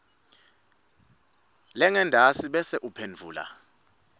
lengentasi bese uphendvula